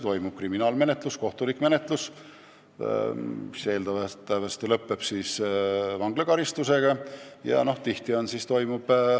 Toimub kriminaalmenetlus, kohtulik menetlus, mis eeldatavasti lõpeb vanglakaristusega.